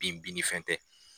Bin binni fɛn tɛ.